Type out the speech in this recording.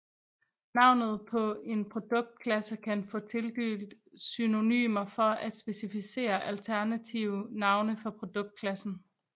Navnet på en produktklasse kan få tildelt synonymer for at specificere alternative navne for produktklassen